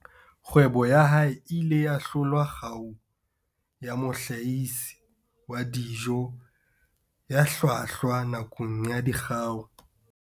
Kgwebo ya hae e ile ya hlola kgau ya mohlahisi wa dijo ya hlwahlwa nakong ya Dikgau.